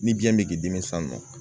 Ni biyɛn bɛ k'i dimi san nɔ